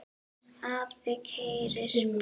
Afi keyrir bílinn.